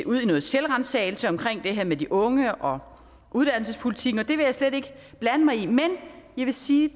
ud i noget selvransagelse omkring det her med de unge og uddannelsespolitikken det vil jeg slet ikke blande mig i men jeg vil sige